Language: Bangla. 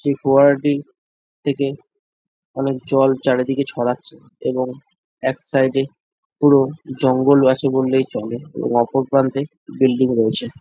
সেই ফোয়ারাটি থেকে অনেক জল চারিদিকে ছড়াচ্ছে এবং এক সাইড - এ পুরো জঙ্গল আছে বললেই চলে এবং অপর প্রান্তে বিল্ডিং রয়েছে।